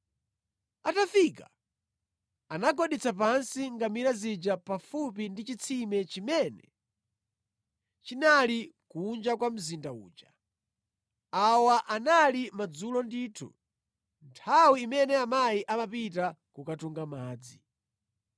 Atafika, anagwaditsa pansi ngamira zija pafupi ndi chitsime chimene chinali kunja kwa mzinda uja. Awa anali madzulo ndithu, nthawi imene amayi amapita kukatunga madzi.